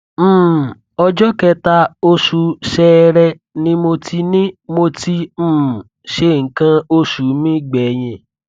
um ọjọ kẹta oṣù ṣẹẹrẹ ni mo ti ni mo ti um ṣe nǹkan oṣù mi gbẹyìn